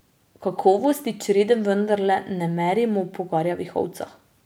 Kakovosti črede vendarle ne merimo po garjavih ovcah.